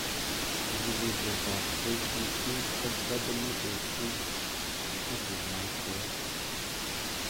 Chikilishet ab KEC ,SWOT ak yamat koit